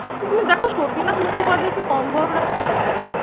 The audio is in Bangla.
তুমি দেখো সতীনাথ মুখোপাধ্যায় কি কম বড় ডাক্তার বলো।